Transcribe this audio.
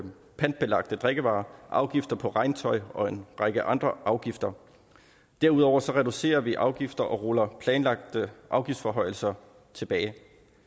pantbelagte drikkevarer afgifter på regntøj og en række andre afgifter derudover reducerer vi afgifter og ruller planlagte afgiftsforhøjelser tilbage